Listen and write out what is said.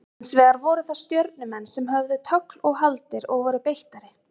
Hins vegar voru það Stjörnumenn sem höfðu tögl og haldir og voru beittari.